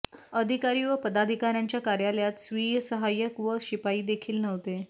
अधिकारी व पदाधिकार्यांच्या कार्यालयात स्वीय सहाय्यक व शिपाईदेखील नव्हते